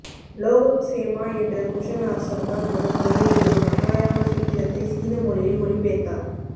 லோகக்ஸேமா என்ற குஷன் அரசர் தான் முதன் முதலில் ஒரு மகாயான சூத்திரத்தை சீன மொழியில் மொழிபெயர்த்தார்